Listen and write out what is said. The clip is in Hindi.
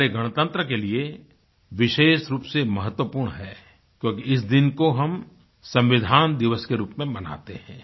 हमारे गणतंत्र के लिए विशेष रूप से महत्वपूर्ण है क्योंकि इस दिन को हम संविधान दिवस के रूप में मनाते हैं